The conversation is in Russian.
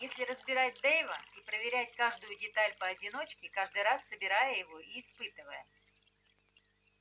если разбирать дейва и проверять каждую деталь поодиночке каждый раз собирая его и испытывая